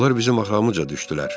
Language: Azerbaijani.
Onlar bizim arxamızca düşdülər.